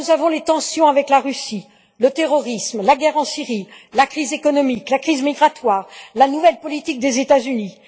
Les tensions avec la Russie, le terrorisme, la guerre en Syrie, la crise économique, la crise migratoire, la nouvelle politique des États Unis...